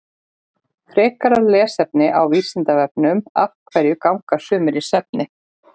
Frekara lesefni á Vísindavefnum Af hverju ganga sumir í svefni?